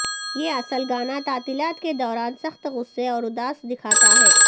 یہ اصل گانا تعطیلات کے دوران سخت غصے اور اداس دکھاتا ہے